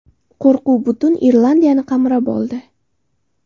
Qo‘rquv butun Irlandiyani qamrab oldi.